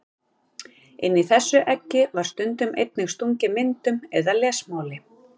Inn í þessi egg var stundum einnig stungið myndum eða lesmáli.